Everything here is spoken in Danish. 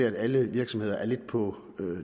at alle virksomheder er lidt på